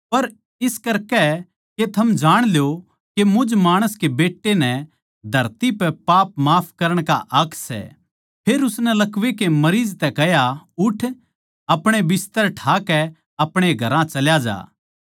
पर इस करकै के थम जाण ल्यो के मुझ माणस के बेट्टै नै धरती पे पाप माफ करण का हक सै फेर उसनै लकवै के मरीज तै कह्या उठ अपणे बिस्तर ठाकै अपणे घरां चल्या जा